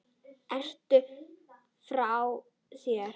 Ertu frá þér?